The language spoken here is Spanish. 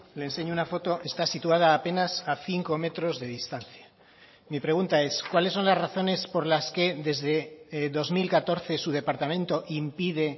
le enseño una foto está situada apenas a cinco metros de distancia mi pregunta es cuáles son las razones por las que desde dos mil catorce su departamento impide